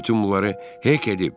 Bütün bunları Hek edib.